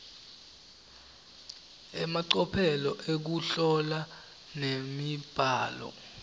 emacophelo ekuhlola nemibhalo